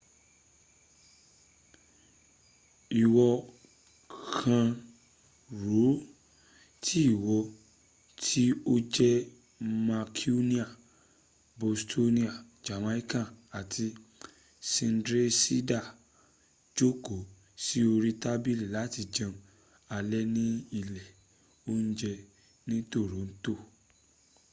ìwọ kàn rò ó tí ìwọ tí o jẹ́ mancunian bostonian jamaican àti sydneysider jókòó sí orí tábílì láti jẹun alẹ́ ni ilé ońjẹ ni toront